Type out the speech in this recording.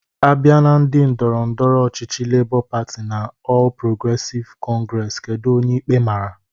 Abịa na ndị ndọrọ ndọrọ ọchịchị Lebọ Patị na Ọl Progresịv Kọngresi, kedu onye ikpe mara?